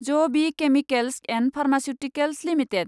ज B chemicals and pharmaceuticals limited